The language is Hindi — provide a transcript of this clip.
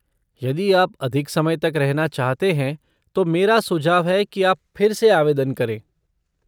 यदि आप अधिक समय तक रहना चाहते हैं, तो मेरा सुझाव है कि आप फिर से आवेदन करें।